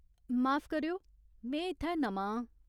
माफ करेओ, में इत्थै नमां आं।